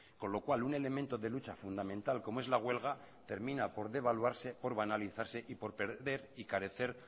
con lo cual un elemento de lucha fundamental como es la huelga termina por devaluarse por vanalizarse y por perder y carecer